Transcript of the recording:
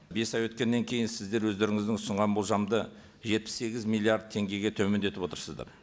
бес ай өткеннен кейін сіздер өздеріңіздің ұсынған болжамды жетпіс сегіз миллиард теңгеге төмендетіп отырсыздар